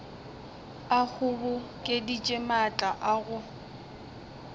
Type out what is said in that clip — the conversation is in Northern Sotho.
a kgobokeditše maatla a go